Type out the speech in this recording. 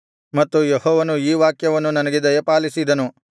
ಮತ್ತು ಯೆಹೋವನು ಈ ವಾಕ್ಯವನ್ನು ನನಗೆ ದಯಪಾಲಿಸಿದನು